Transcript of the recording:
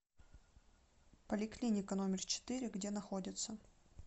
поликлиника номер четыре где находится